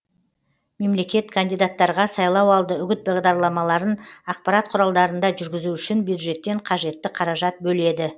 мемлекет кандидаттарға сайлауалды үгіт бағдарламаларын ақпарат құралдарында жүргізу үшін бюджеттен қажетті қаражат бөледі